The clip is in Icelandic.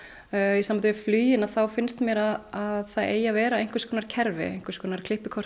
í sambandi við flugin þá finnst mér að það eigi að vera einhvers konar kerfi einhvers konar